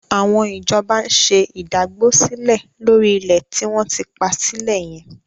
Àwọn ìjọba ń ṣe ìdágbósílẹ̀ lórí ilẹ̀ tí wọ́n ti pa sílẹ̀ yẹn.